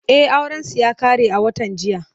E, aurensu ya ƙare a watan jiya.